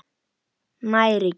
Nær ekki.